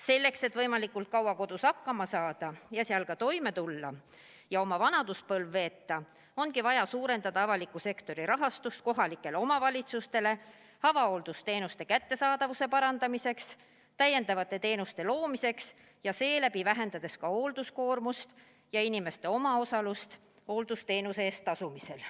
Selleks, et võimalikult kaua kodus hakkama saada, seal ka toime tulla ja oma vanaduspõlv veeta, ongi vaja suurendada avaliku sektori rahastust kohalikele omavalitsustele avahooldusteenuste kättesaadavuse parandamiseks ja lisateenuste loomiseks, seeläbi vähendades ka hoolduskoormust ja inimeste omaosalust hooldusteenuse eest tasumisel.